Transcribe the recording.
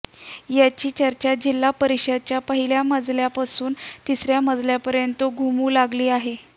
याची चर्चा जिल्हा परिषदेच्या पहिल्या मजल्यापासून तिसर्या मजल्यापर्यंत घुमू लागली आहे